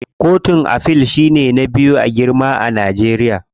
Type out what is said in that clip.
Kotun Afil shine ba biyu a girma a Najeriya.